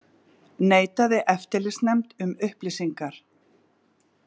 Neitaði eftirlitsnefnd um upplýsingar